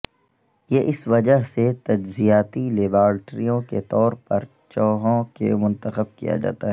یہ اس وجہ سے تجرباتی لیبارٹریوں کے طور پر چوہوں کو منتخب کیا جاتا ہے